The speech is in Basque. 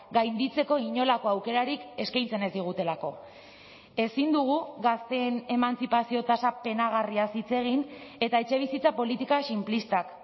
gainditzeko inolako aukerarik eskaintzen ez digutelako ezin dugu gazteen emantzipazio tasa penagarriaz hitz egin eta etxebizitza politika sinplistak